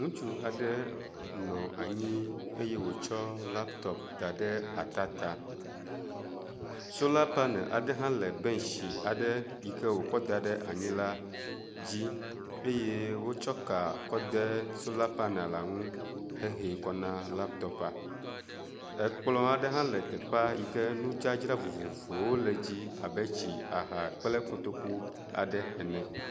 Ŋutsu aɖe nɔ anyi eye wòtsɔ laptop da ɖe ata ta. Sola panel aɖe hã le bɛntsi aɖe yi ke wòkɔ da ɖe anyi la dzi eye wotsɔ ka kɔ de sola panel la ŋu hehee kɔ na laptop. Ekplɔ aɖe hã le teƒea yi ke nudzadzra vovovowo le edzi abe tsi, aha kple kotoku aɖe ene.